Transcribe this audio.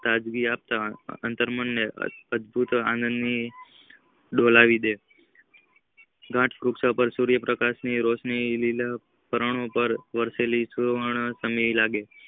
તાજગી આપતા અત્તર મન ને અતિયાત આનંદ થી ડોલાવી દે ગાંઠ પ્રકાશ ની રોશની લીલા કિરણો પાર વસેલી સુવન લાગે છે.